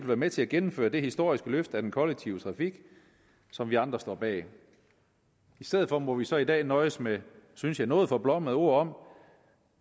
være med til at gennemføre det historiske løft af den kollektive trafik som vi andre står bag i stedet for må vi så i dag nøjes med synes jeg nogle noget forblommede ord om